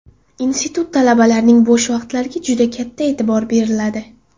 Institut talabalarining bo‘sh vaqtlariga katta e’tibor beriladi.